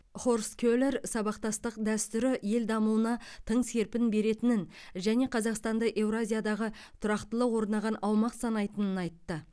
хорст келер сабақтастық дәстүрі ел дамуына тың серпін беретінін және қазақстанды еуразиядағы тұрақтылық орнаған аумақ санайтынын айтты